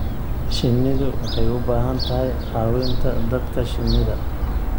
Shinnidu waxay u baahan tahay caawinta dadka shinnida.